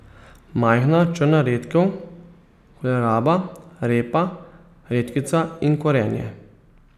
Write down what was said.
Majhna črna redkev, koleraba, repa, redkvica in korenje.